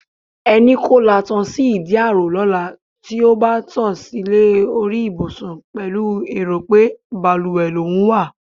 E̩ni kó latan sí ìdí ààrò ló̩la tí ó bá to̩ silé orí ìbùsùn pè̩lú èrò pé balùwè lòún wa.